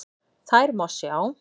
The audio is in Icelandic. Þær má sjá